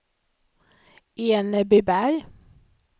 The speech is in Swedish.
Enebyberg